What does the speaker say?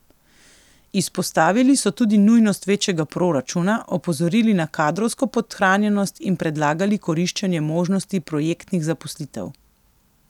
Izpostavili so tudi nujnost večjega proračuna, opozorili na kadrovsko podhranjenost in predlagali koriščenje možnosti projektnih zaposlitev.